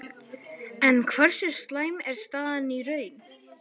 En hversu slæm er staðan í raun?